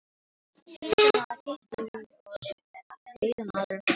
Sýslumaður kippti í og dauðamaðurinn féll við.